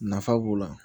Nafa b'o la